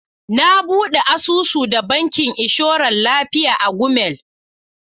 Na buɗe asusu da bankin inshoran lafiya a Gumel.